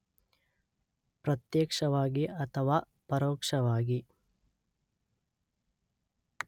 ಪ್ರತ್ಯಕ್ಷವಾಗಿ ಅಥವಾ ಪರೋಕ್ಷವಾಗಿ